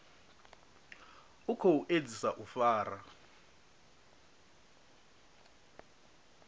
u khou edzisa u fara